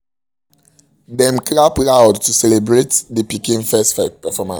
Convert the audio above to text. dem clap loud to celebrate the pikin first performance